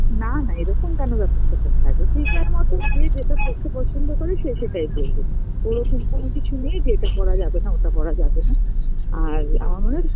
না না এরকম কেন ব্যাপার-স্যাপার থাকবে, যে যার মতন যে যেটা পরতে পছন্দ করে সে সেটাই পড়বে এরকম কোনো কিছু নেই যে এটা পরা যাবে না ওটা পরা যাবে না আর আমার মনে হয়